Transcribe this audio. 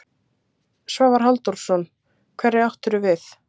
Svavar Halldórsson: Hverja áttu við?